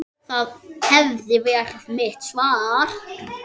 Það hefði verið mitt svar.